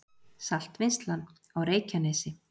Saltvinnsla á Reykjanesi